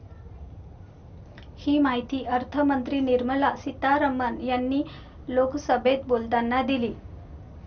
ही माहिती अर्थमंत्री निर्मला सितारमण यांनी लोकसभेत बोलताना दिली.